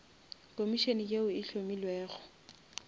komišene yeo e hlomilwego